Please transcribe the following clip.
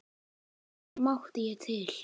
En hér mátti ég til.